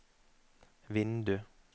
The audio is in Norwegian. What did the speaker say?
vindu